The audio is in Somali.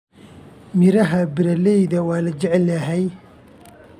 Miraha barley waa la jecel yahay.